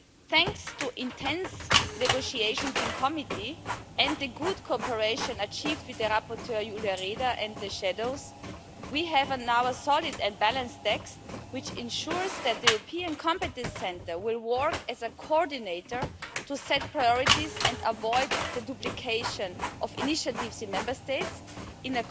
Thanks to intense negotiations in committee, and the good cooperation achieved with the rapporteur, Julia Reda, and the shadows, we now have a solid and balanced text which ensures that the European Competence Centre will work as a coordinator to set priorities and avoid the duplication of initiatives in Member States in